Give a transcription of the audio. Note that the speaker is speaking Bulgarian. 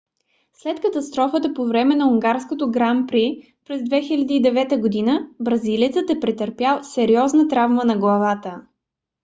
след катастрофа по време на унгарското гран при през 2009 г. бразилецът е претърпял сериозна травма на главата